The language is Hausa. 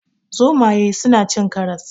Zomaye suna cin karas.